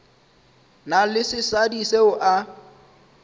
na le sesadi seo a